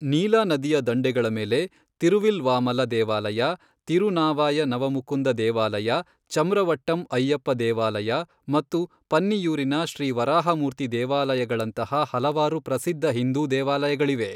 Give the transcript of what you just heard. ನೀಲಾ ನದಿಯ ದಂಡೆಗಳ ಮೇಲೆ ತಿರುವಿಲ್ವಾಮಲ ದೇವಾಲಯ, ತಿರುನಾವಾಯ ನವಮುಕುಂದ ದೇವಾಲಯ, ಚಮ್ರವಟ್ಟಂ ಅಯ್ಯಪ್ಪ ದೇವಾಲಯ, ಮತ್ತು ಪನ್ನಿಯೂರಿನ ಶ್ರೀ ವರಾಹಮೂರ್ತಿ ದೇವಾಲಯಗಳಂತಹ ಹಲವಾರು ಪ್ರಸಿದ್ಧ ಹಿಂದೂ ದೇವಾಲಯಗಳಿವೆ.